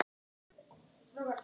Tel ég bústað vera það.